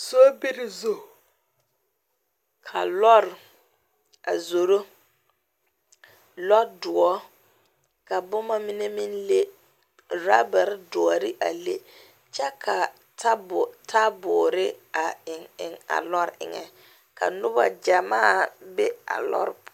Sobiri zu ka lɔr a zoro, lɔr doɔre ka boma mine meŋ leŋ, roobere doɔre a leŋ kyɛ ka taaboore a eŋe eŋe a lɔr eŋe ka noba gyamaa be a lɔr poɔ